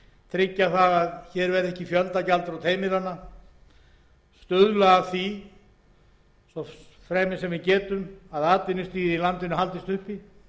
tryggja að hér verði ekki fjöldagjaldþrot heimilanna stuðla að því svo fremi sem við getum að atvinnustigið í landinu haldist uppi